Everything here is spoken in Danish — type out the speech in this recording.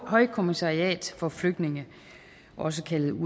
højkommissariat for flygtninge også kaldet